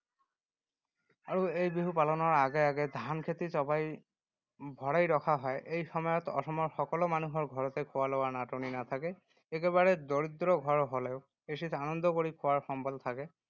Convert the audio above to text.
আৰু এই বিহু পালনৰ আগে আগে ধানখেতি চপাই ভৰাই ৰখা হয়। এই সময়ত অসমৰ সকলো মানুহৰ ঘৰতে খোৱা-লোৱাৰ নাটনি নাথাকে। একেবাৰে দৰিদ্ৰ ঘৰ হ’লেও এসাঁজ আনন্দ কৰি খোৱাৰ সম্বল থাকে।